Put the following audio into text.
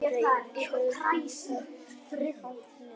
Reykur í þaki í Hátúni